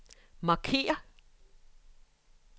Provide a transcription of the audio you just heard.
markér